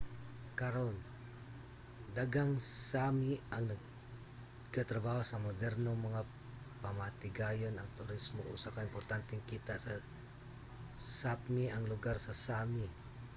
karon daghang sámi ang nagatrabaho sa modernong mga pamatigayon. ang turismo usa ka importanteng kita sa sápmi ang lugar sa sámi